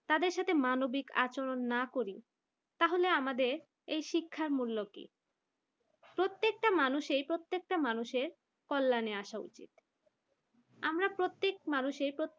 তাদের সাথে মানবিক আচরণ না করি তাহলে আমাদের এই শিক্ষার মূল্য কি প্রত্যেকটা মানুষের প্রত্যেকটা মানুষের কল্যানে আসা উচিত আমরা প্রত্যেক মানুষের